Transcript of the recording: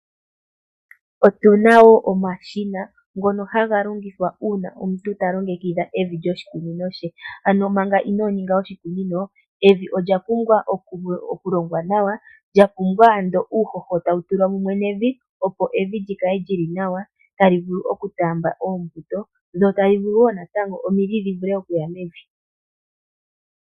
Otuna wo omashina ngono haga longithwa uuna omuntu talongekidha evi lyoshikunino she, ano manga inoninga oshikunino, evi olya pumbwa okulongwa nawa, lyapumbwa ando uuhoho tawutulwa mumwe nevi opo evi lyikale lyili nawa tali vulu okutaamba oombuto dho tali vulu wo natango omidhi dhivule okuya mevi.